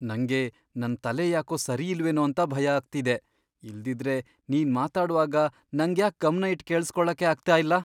ನಂಗೆ ನನ್ ತಲೆ ಯಾಕೋ ಸರಿಯಿಲ್ವೇನೋ ಅಂತ ಭಯ ಆಗ್ತಿದೆ, ಇಲ್ದಿದ್ರೆ, ನೀನ್ ಮಾತಾಡ್ವಾಗ ನಂಗ್ಯಾಕ್ ಗಮ್ನ ಇಟ್ ಕೇಳಿಸ್ಕೊಳಕ್ಕೇ ಆಗ್ತಾ ಇಲ್ಲ?